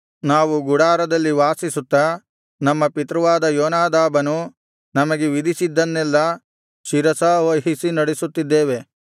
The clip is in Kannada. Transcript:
ನಾವು ಗುಡಾರಗಳಲ್ಲಿ ವಾಸಿಸುತ್ತಾ ನಮ್ಮ ಪಿತೃವಾದ ಯೋನಾದಾಬನು ನಮಗೆ ವಿಧಿಸಿದ್ದನ್ನೆಲ್ಲಾ ಶಿರಸಾವಹಿಸಿ ನಡೆಸುತ್ತಿದ್ದೇವೆ